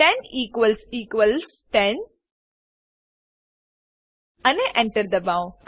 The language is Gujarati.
10 ઇક્વલ્સ ઇક્વલ્સ 10 અને Enter દબાવો